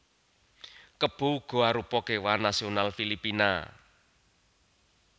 Kebo uga arupa kéwan nasional Filipina